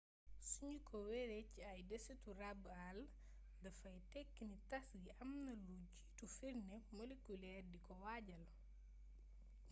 sunu ko wéeree ci ay desitu rabb àll dafay tekk ni tass gi am naa lu jiitu firnde molekuleer di ko waajal